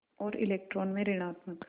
और इलेक्ट्रॉन में ॠणात्मक